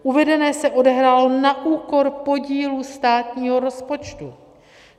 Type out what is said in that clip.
Uvedené se odehrálo na úkor podílu státního rozpočtu.